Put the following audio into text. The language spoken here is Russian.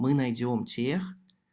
мы найдём тех